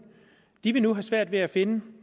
de vil nu have svært ved at finde